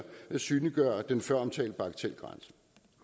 synliggøre den føromtalte bagatelgrænse